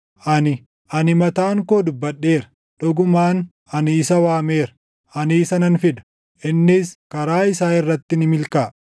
Ani, ani mataan koo dubbadheera; dhugumaan ani isa waameera. Ani isa nan fida; innis karaa isaa irratti ni milkaaʼa.